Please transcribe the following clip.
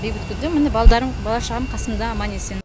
бейбіт күнде міне балдарым бала шағам қасымда аман есен